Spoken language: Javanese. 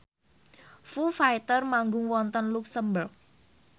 Foo Fighter manggung wonten luxemburg